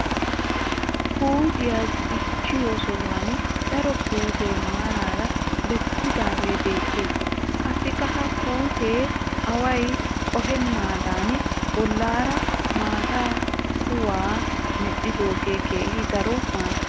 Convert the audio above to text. Puutiya dichchiyo sohuwan daro puutee maaraara bessidaagee beettes. Qassikka ha puutiya away qohennaadan bollaara maata kuwaa medhdhoogee keehi daro maaddes.